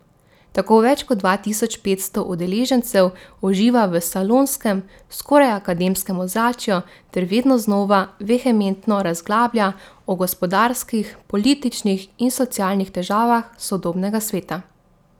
Tako več kot dva tisoč petsto udeležencev uživa v salonskem, skoraj akademskem ozračju ter vedno znova vehementno razglablja o gospodarskih, političnih in socialnih težavah sodobnega sveta.